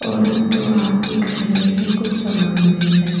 और दो आदमी खड़े हैं कुछ सामान लेकर--